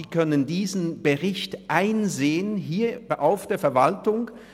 Sie können diesen Bericht einsehen, hier bei der Verwaltung.